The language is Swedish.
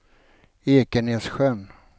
Ekenässjön